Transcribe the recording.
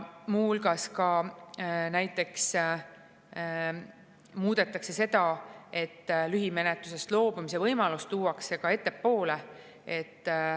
Muu hulgas muudetakse seda, et lühimenetlusest loobumise võimalus tuuakse ettepoole.